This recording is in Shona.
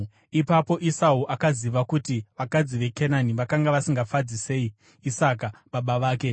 Ipapo Esau akaziva kuti vakadzi veKenani vakanga vasingafadzi sei Isaka baba vake;